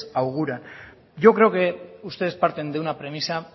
auguran yo creo que ustedes parten de una premisa